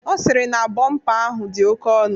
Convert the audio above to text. Ọ sịrị na bọmpa ahụ dị oke ọnụ.